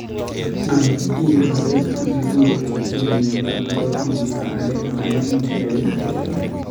Amat iip bandek anan mobek chetinye miondo agoi komosta age, paen kiagik